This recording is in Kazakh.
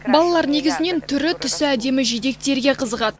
балалар негізінен түрі түсі әдемі жидектерге қызығады